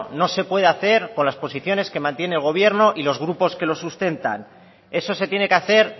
no se puede hacer con las posiciones que mantiene el gobierno y los grupos que los sustentan eso se tiene que hacer